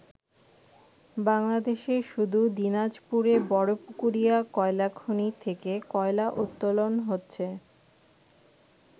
বাংলাদেশে শুধু দিনাজপুরে বড় পুকুরিয়া কয়লা খনি থেকে কয়লা উত্তোলন হচ্ছে।